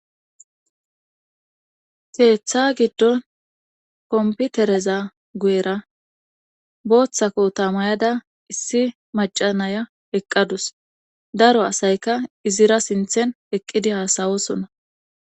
Keeththa giddon komputereza gu7era booththako tamayada issi macanaya eqqadus daro asayka izira sinthen eqqidi haasawosona